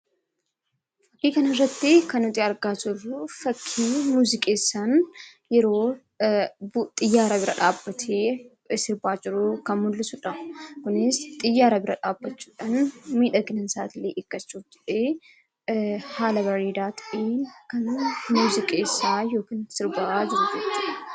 Fakkii kana irratti kan nuti argaa jirru, fakkii muuziqeessaan yeroo xiyyaara bira dhaabbatee sirbaa jiru kan mul'isudha. Kunis xiyyaara bira dhaabbachuudhaan miidhaginni isaa hirkachuun ta'ee haala bareedaa ta'een kan muuziqeessaa yookiin sirbaa jiru jechuudha.